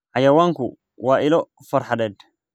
Xayawaanku waa ilo farxadeed.